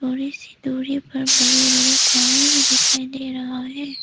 थोड़ी सी दूरी पर बड़े बड़े पहाड़ भी दिखाई दे रहा है।